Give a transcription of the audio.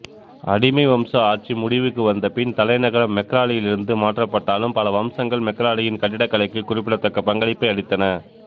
அடிமை வம்ச ஆட்சி முடிவுக்கு வந்தபின் தலைநகரம் மெக்ராலியிலிருந்து மாற்றப்பட்டாலும் பல வம்சங்கள் மெக்ராலியின் கட்டிடக்கலைக்கு குறிப்பிடத்தக்க பங்களிப்பை அளித்தன